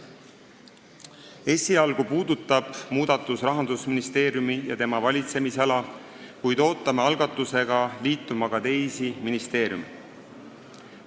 Esialgu puudutab muudatus Rahandusministeeriumi ja tema valitsemisala, kuid ootame algatusega liituma ka teisi ministeeriume.